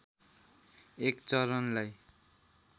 एक चरणलाई